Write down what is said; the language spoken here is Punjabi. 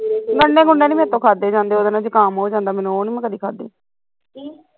ਗੰਡੇ ਗੁੰਡੇ ਨੀ ਮੇਰੇ ਤੋਂ ਖਾਧੇ ਜਾਂਦੇ ਉਹਦੇ ਨਾਲ਼ ਜ਼ੁਕਾਮ ਹੋ ਜਾਂਦਾ ਮੈਨੂੰ ਉਹ ਨੀ ਮੈਂ ਕਦੀ ਖਾਧੇ